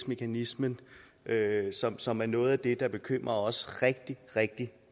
mekanismen som som er noget af det der bekymrer os rigtig rigtig